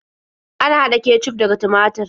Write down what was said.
Ana haɗa kecuf daga tumatur.